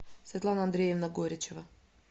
светлана андреевна горячева